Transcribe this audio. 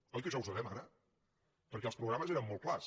oi que això ho sabem ara perquè els programes eren molt clars